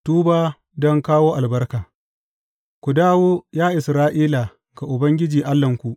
Tuba don kawo albarka Ku dawo, ya Isra’ila, ga Ubangiji Allahnku.